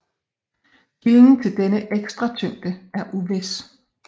Kilden til denne ekstra tyngde er uvis